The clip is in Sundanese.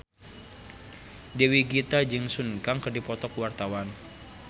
Dewi Gita jeung Sun Kang keur dipoto ku wartawan